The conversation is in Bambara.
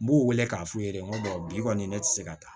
M'u wele k'a f'u ye n ko bi kɔni ne tɛ se ka taa